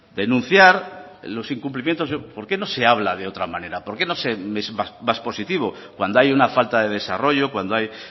denunciar los incumplimientos por qué no se habla de otra manera por qué no se es más positivo cuando hay una falta de desarrollo cuando hay